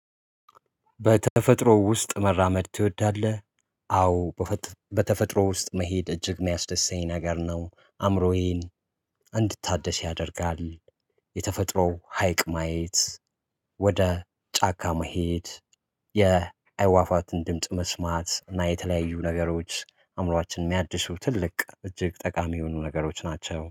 በተፈጥሮ ውስጥ መራመድ ትወዳለህ? አዎ በተፈጥሮ ውስጥ መሄድ እጅግ ሚያስደስተኝ ነገር ነው አእምሮዬን እንድታደስ ያደርጋል። የተፈጥሮው ሀይቅ ማየት ወደ ጫካ መሄድ የአዋፋትን ድምጽ መስማት እና የተለያዩ ነገሮች አእምሮአችን የሚያድሱ ትልቅ እጅግ ጠቃሚ የሆኑ ነገሮች ናቸው